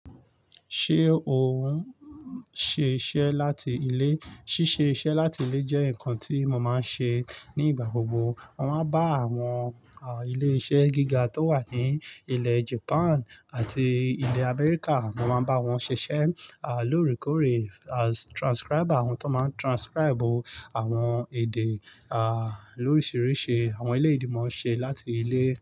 Ṣé ò ń ṣe iṣẹ́ láti ilé? Síṣe iṣẹ́ láti ilé jẹ́ nǹkan tí mo máa ń ṣe ní ìgbà gbogbo. Mo máa ń bá àwọn ilé iṣẹ́ gíga tó wà ní ilẹ̀ Japan àti ilẹ̀ America, mo máa ń bá wọn ṣiṣẹ́ lóòrèkóòrè as transcriber, àwọn tó máa transcribe àwọn èdè lórisìíríṣìí, àwọn eléyi ni mọ̀ n ṣe láti ilé.